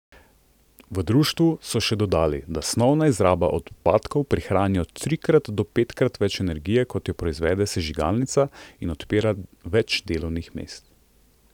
V društvu so še dodali, da snovna izraba odpadkov prihrani od trikrat do petkrat več energije, kot je proizvede sežigalnica, in odpira več delovnih mest.